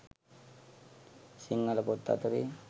සිංහල පොත් අතරේ